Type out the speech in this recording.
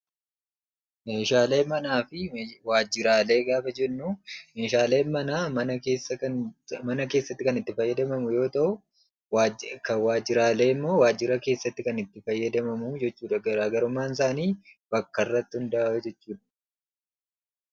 Meeshaalee manaa fi waajiraalee gaafa jennuu; meeshaaleen manaa mana keessatti kan itti gargaaramnuu yoo ta'u; waajjiraaleen immoo kan waajjira keessatti kan itti fayyadamamuudha. Garaagarummaan isaanii bakka irratti hunda'aa.